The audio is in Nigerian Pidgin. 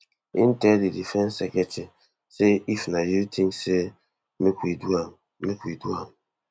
e tell di defence secretary say if you think say make we do am make we do am